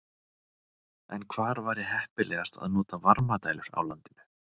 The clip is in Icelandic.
En hvar væri heppilegast að nota varmadælur á landinu?